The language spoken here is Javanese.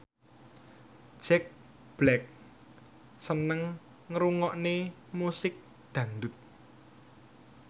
Jack Black seneng ngrungokne musik dangdut